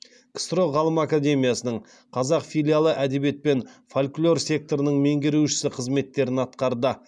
ксро ғылым академиясының қазақ филиалы әдебиет пен фольклор секторының меңгерушісі қызметтерін атқарды